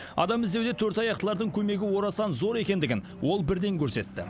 адам іздеуде төрт аяқтылардың көмегі орасан зор екендігін ол бірден көрсетті